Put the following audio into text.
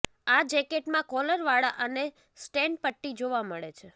આ જેકેટમાં કોલર વાળા અને સ્ટેનપટ્ટી જોવા મળે છે